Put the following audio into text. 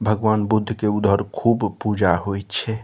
भगवान बुद्ध के उधर खूब पूजा होय छै।